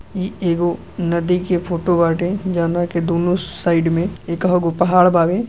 इ एगो नदी के फोटो बाटे जौना के दुनो साइड में एकह गो पहाड़ बावे।